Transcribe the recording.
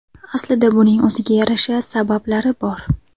Aslida buning o‘ziga yarasha sabablari bor.